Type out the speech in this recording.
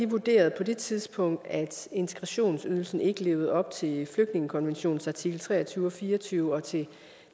vurderede på det tidspunkt at integrationsydelsen ikke levede op til flygtningekonventionens artikel tre og tyve og fire og tyve og til